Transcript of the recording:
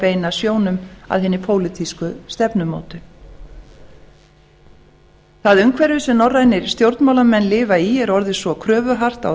beina sjónum að hinni pólitísku stefnumótun það umhverfi sem norrænir stjórnmálamenn lifa í er orðið svo kröfuhart á